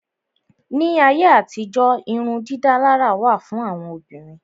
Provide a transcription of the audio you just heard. Ní ayé àtijó irun dídálárà wà fún àwọn Obìnrin.